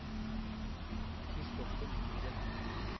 Christoffer Myhren